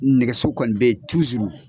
Nɛgɛso kɔni be ye tuzuru.